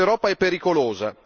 Questa Europa è pericolosa.